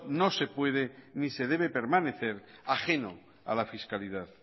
no se puede ni se debe permanecer ajeno a la fiscalidad